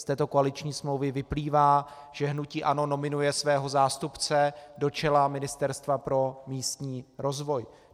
Z této koaliční smlouvy vyplývá, že hnutí ANO nominuje svého zástupce do čela Ministerstva pro místní rozvoj.